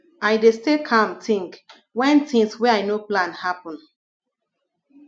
i dey stay calm tink wen tins wey i no plan happen